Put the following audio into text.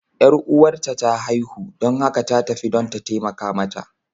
Yar uwarta ta haihu, don haka ta tafi don ta taimaka mata.